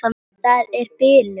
Það er bilun.